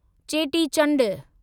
Cheti Chand